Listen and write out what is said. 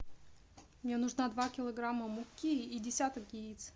мне нужно два килограмма муки и десяток яиц